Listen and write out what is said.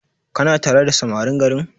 Kana tare da samarin garin?